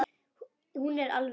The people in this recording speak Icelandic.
Hún er alvöru.